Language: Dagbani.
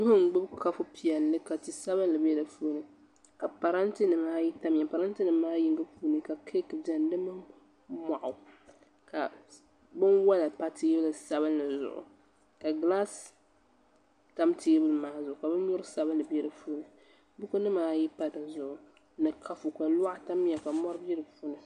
Nuu n gbubi kapu piɛlli ka ti sabinli bɛ di puuni ka parantɛ nimaa ayi tamya ka parantɛ nim maa yinga puuni ka keek biɛnidi mini moɣu ka binwola pa teebulu sabinli zuɣu ka gilaas tam teebuli maa zuɣu ka binyurili sabinli nɛ di puuni buku nimaa ayi pa di zuɣu ni kapu ka loɣu tamya ka mori bɛ di puuni